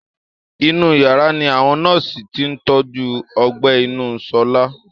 Inú yàrá ni awọn nọ́ọ̀sì ti ń tọ́jú ọgbẹ́ inú Ṣọlá